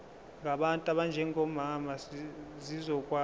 ngabantu abanjengomama zizokwazi